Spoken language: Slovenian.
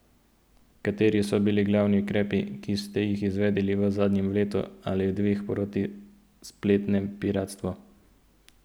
Kateri so bili glavni ukrepi, ki ste jih izvedli v zadnjem letu ali dveh proti spletnemu piratstvu?